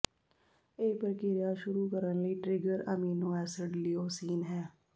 ਇਹ ਪ੍ਰਕਿਰਿਆ ਸ਼ੁਰੂ ਕਰਨ ਲਈ ਟਰਿਗਰ ਐਮੀਨੋ ਐਸਿਡ ਲੀਓਸੀਨ ਹੈ